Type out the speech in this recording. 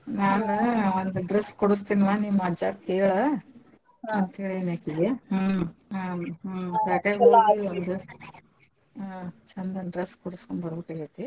ಹಾ ನಾನು ಒಂದ್ dress ಕೊಡಸ್ತಿನವ ನಿಮ್ಮ ಅಜ್ಜಾಗ್ ಕೇಳ ಅಂತೇಳೆನಕಿಗೆ ಹ್ಮ್ ಹ್ಮ್ ಪ್ಯಾಟ್ಯಾಗ್ ಹೋಗಿ ಒಂದ್ ಹ್ಮ್ ಚಂದಂದ್ dress ಕೊಡಸ್ಕೊಂಬರ್ಬೇಕಾಗೆತಿ.